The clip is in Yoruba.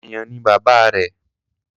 Àyàn ni bàbá rẹ̀.